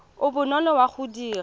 o bonolo wa go dira